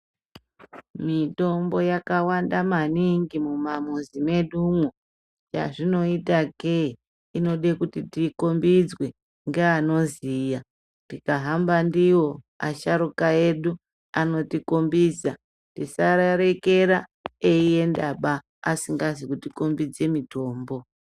Mitombo yakawanda maningi mumamuzi mwedumwo. Chazvinoitakeee inode kuti tiikhombidzwe ngeanoziya. Tikahamba ndiwo asharuka edu, anotikhombidza, tisavarekera eiendaba asingazi kuti kombidze mitombo.